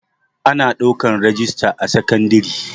Ana ɗaukan rajista a sekandare